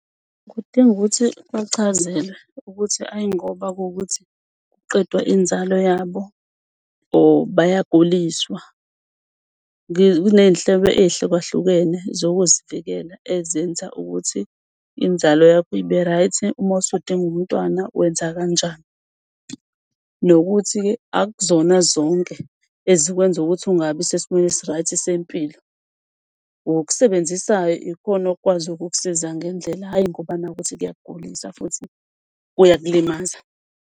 Kudinga ukuthi bachazelwe ukuthi ayi ngoba kuwukuthi kuqedwa inzalo yabo or bayaguliswa. Kuney'nhlobo ey'hlukahlukene zokuzivikela ezenza ukuthi inzalo yakho ibe-right. Uma usudinga umntwana wenza kanjani, nokuthi-ke akuzona zonke ezokwenza ukuthi ungabi sesimeni esi-right sempilo. Okusebenzisayo ikhona okukwazi ukukusiza ngendlela ayi ngoba naku kuwukuthi kuyakugulisa futhi kuyakulimaza.